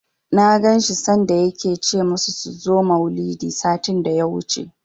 Na ganshi sanda yake ce musu su zo maulidi, satin daya wuce